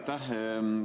Aitäh!